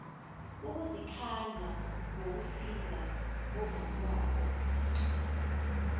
ukuzikhandla ngokusiza ozakwabo